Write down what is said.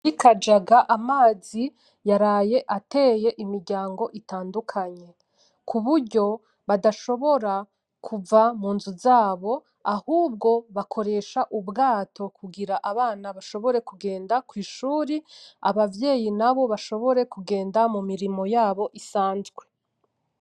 Ikajaga amazi yaraye ateye imiryango itandukanye k'uburyo badashobora kuva munzu zabo ahubwo bakoresha ubwato kugira abana bashobore kugenda baje ku ishuri abavyeyi nabo bashobore kugenda mu mirimo yabo isanzwe.